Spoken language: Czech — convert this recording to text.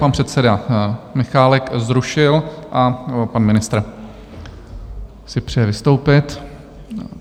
Pan předseda Michálek zrušil a pan ministr si přeje vystoupit.